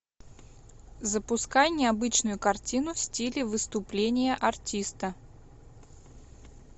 запускай необычную картину в стиле выступления артиста